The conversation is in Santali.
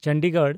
ᱪᱚᱱᱰᱤᱜᱚᱲ